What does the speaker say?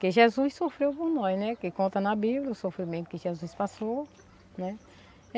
Que Jesus sofreu por nós, né, que conta na Bíblia o sofrimento que Jesus passou, né.